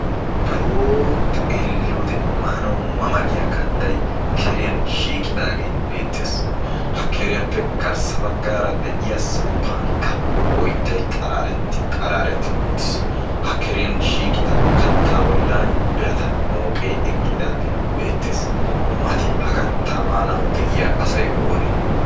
Biron xeelliyoode maanawu mama giya kattay keriyan shiiqidaagee beettees. Ha keriyaappe garssa baggaara de'iya samppankka oyttay qaraaretti qaraarettidi uttiis. Ha keriyan shiiqida kattaa bollan birata mooqee eqqidaagee beettees. Mati hagaa katta maanawu de'iya asay oonee?